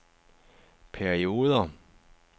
perioder